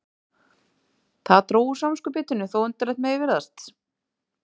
Það dró úr samviskubitinu þótt undarlegt mætti virðast.